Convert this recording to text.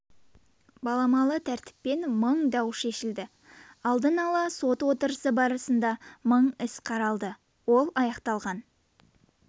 баламалы тәртіппен мың дау шешілді алдын ала сот отырысы барысында мың іс қаралды ол аяқталған